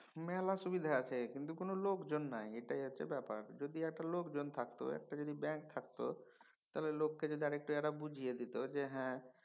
মেলা সুবিধা আছে কিন্তু কোনও লোকজন নাই এইটাই হচ্ছে ব্যাপার। যদি একটু লোকজন থাকত একটা যদি ব্যাঙ্ক থাকতো তাহলে লোককে যদি এঁরা আরেকটু বুঝিয়ে দিত যে হ্যাঁ